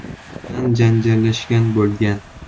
bilan janjallashgan bo‘lgan.